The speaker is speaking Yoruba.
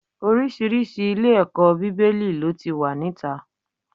Oríṣiríṣi ilé-ẹ̀kọ́ Bíbélì ló ti wà níta.